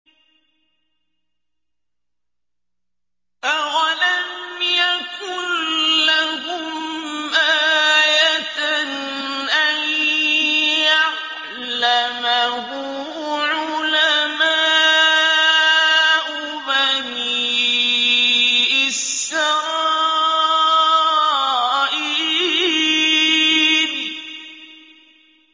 أَوَلَمْ يَكُن لَّهُمْ آيَةً أَن يَعْلَمَهُ عُلَمَاءُ بَنِي إِسْرَائِيلَ